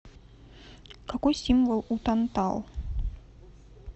какой символ у тантал